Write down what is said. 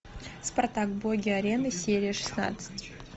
спартак боги арены серия шестнадцать